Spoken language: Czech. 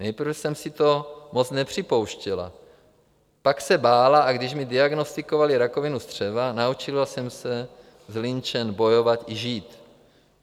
Nejprve jsem si to moc nepřipouštěla, pak se bála, a když mi diagnostikovali rakovinu střeva, naučila jsem se s Lynchem bojovat i žít.